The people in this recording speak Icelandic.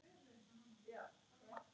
Þú ert bara svona linur!